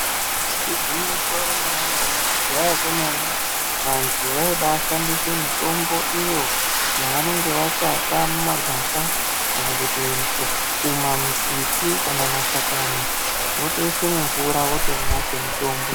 Igwinyiso remenemene kudhaya kwemene vantu vobashandise mitombo iyo yavanenge vatsvaka mumagwasha kana kuti kumambiti kana mashakani votoisa mumvura votomwa semutombo.